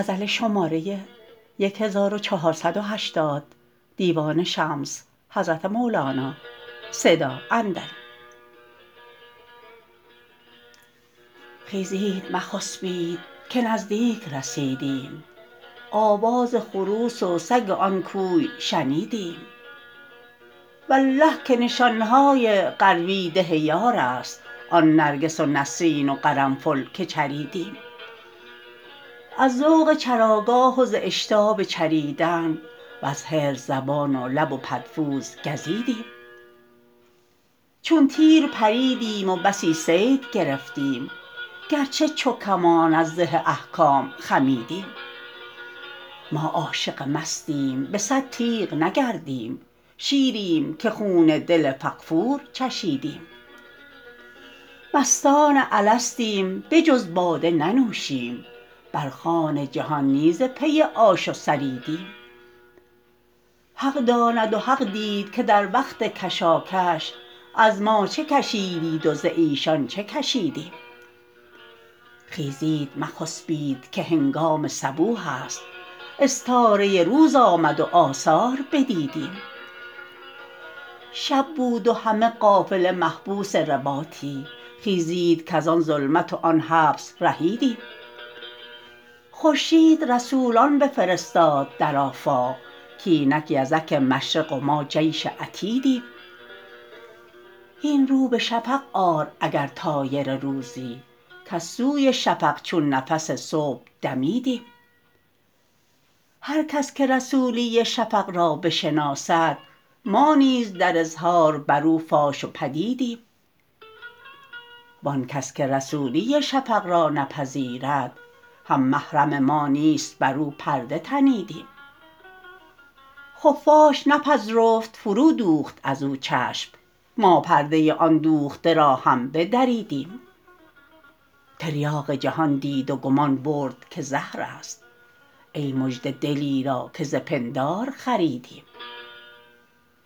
خیزید مخسپید که نزدیک رسیدیم آواز خروس و سگ آن کوی شنیدیم والله که نشان های قروی ده یارست آن نرگس و نسرین و قرنفل که چریدیم از ذوق چراگاه و ز اشتاب چریدن وز حرص زبان و لب و پدفوز گزیدیم چون تیر پریدیم و بسی صید گرفتیم گرچه چو کمان از زه احکام خمیدیم ما عاشق مستیم به صد تیغ نگردیم شیریم که خون دل فغفور چشیدیم مستان الستیم به جز باده ننوشیم بر خوان جهان نی ز پی آش و ثریدیم حق داند و حق دید که در وقت کشاکش از ما چه کشیدید و ز ایشان چه کشیدیم خیزید مخسپید که هنگام صبوح است استاره روز آمد و آثار بدیدیم شب بود و همه قافله محبوس رباطی خیزید کز آن ظلمت و آن حبس رهیدیم خورشید رسولان بفرستاد در آفاق کاینک یزک مشرق و ما جیش عتیدیم هین رو به شفق آر اگر طایر روزی کز سوی شفق چون نفس صبح دمیدیم هر کس که رسولی شفق را بشناسد ما نیز در اظهار بر او فاش و پدیدیم وان کس که رسولی شفق را نپذیرد هم محرم ما نیست بر او پرده تنیدیم خفاش نپذرفت فرودوخت از او چشم ما پرده آن دوخته را هم بدریدیم تریاق جهان دید و گمان برد که زهر است ای مژده دلی را که ز پندار خریدیم